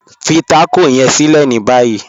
Fí tákọ yẹ̀n sílẹ̀ ní báyì..